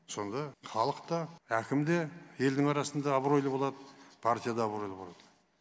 сонда халық та әкім де елдің арасында абыройлы болады партия да абыройлы болады